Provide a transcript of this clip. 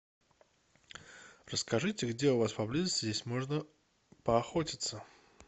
расскажите где у вас поблизости здесь можно поохотиться